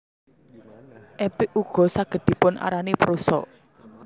Epik ugo saged dipun arani prosa